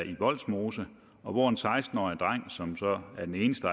i vollsmose og hvor en seksten årig dreng som så er den eneste